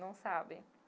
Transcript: Não sabe.